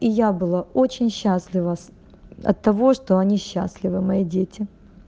я была очень счастлива от того что они счастливы мои дети